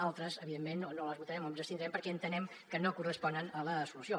altres evidentment no les votarem o ens hi abstindrem perquè entenem que no corresponen a la solució